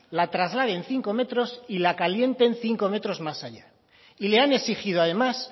la traslade en cinco metros y la calienten cinco metros más allá y le han exigido además